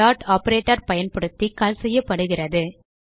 dot operator பயன்படுத்தி call செய்யப்படுகிறது